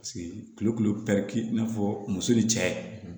kulu i n'a fɔ muso ye cɛ ye